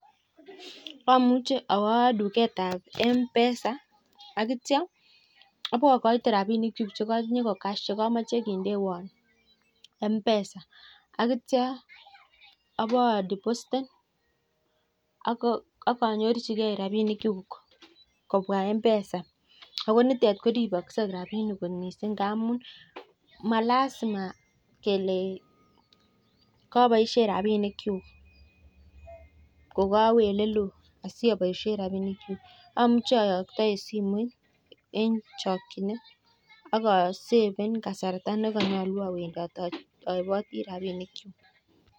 Amuche awoo tuketab mpesa akityo abokoite rabinik chuk chekotinye ko cash chekomoch kindewon mpesa akityo abodipositen ak anyirchikei rabishek chuk kobwaa mpesa ako nitet koriboshen rabishek kot missing ingamun malasima kelein koboishen rabinik chuk ko kowee oleloo ko kaboishen rabinik chuk amuche ayokto en simoit en chokchinet ak aseben kasarta ne yoche awendot owendi en emrabinik chuk.